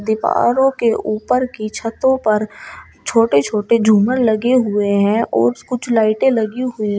दीवारों के ऊपर की छतो पर छोटे छोटे झूमर लगे हुए हैं और कुछ लाइटे लगी हुई है।